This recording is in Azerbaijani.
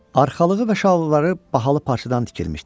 Arxalığı və şalvarları bahalı parçadan tikilmişdi.